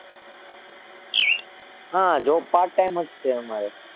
હાં Job Part Time જ છે અમારે.